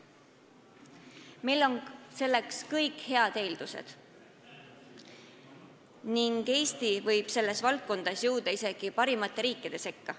Meil on selleks olemas kõik eeldused ning Eesti võib selles valdkonnas jõuda isegi parimate riikide sekka.